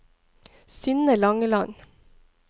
Synne Langeland